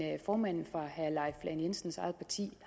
formanden for herre leif lahn jensens eget parti